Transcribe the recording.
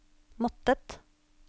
måttet